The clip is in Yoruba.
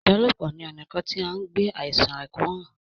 ìbálòpọ̀ ni ona kàn tí an gbé àìsàn àkóràn.